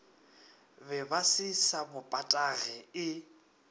bebase sa bo patage e